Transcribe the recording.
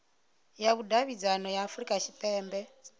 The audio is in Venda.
ya vhudavhidzano ya afurika tshipembe